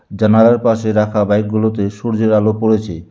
জানালার পাশে রাখা বাইকগুলোতে সূর্যের আলো পড়েছে।